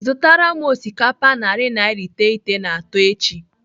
Zụtara m osikapa narị naira iteghete na atọ echi.